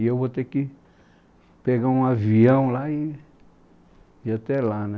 E eu vou ter que pegar um avião lá e, e ir até lá, né?